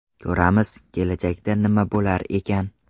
Ko‘ramiz, kelajakda nima bo‘lar ekan.